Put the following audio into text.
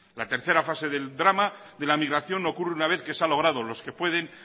la tercera fase del drama de la migración ocurre una vez que se ha logrado los que pueden